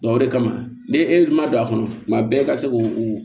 o de kama ne e ma don a kɔnɔ tuma bɛɛ e ka se k'o